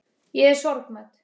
Ég er sorgmædd.